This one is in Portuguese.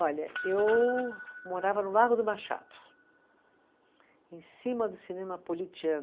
Olha, eu morava no Largo do Machado, em cima do cinema